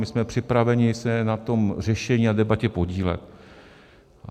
My jsme připraveni se na tom řešení a debatě podílet.